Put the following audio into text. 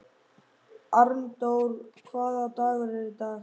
Arndór, hvaða dagur er í dag?